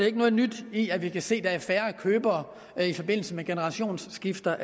ikke noget nyt i at vi kan se at der er færre købere i forbindelse med generationsskifte